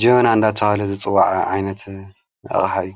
ጀወና ኣንዳተሃለ ዝጽዋዐ ኣይነት ኣቕሃዩ።